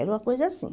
Era uma coisa assim.